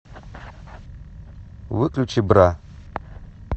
выключи бра